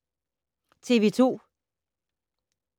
TV 2